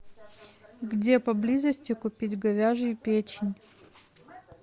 где поблизости купить говяжью печень